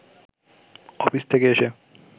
office থেকে এসে